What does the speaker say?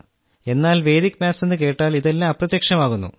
എന്നാൽ Vedic maths എന്നു കേട്ടാൽ ഇതെല്ലാം അപ്രത്യക്ഷമാകുന്നു